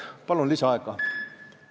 Palun lisaaega!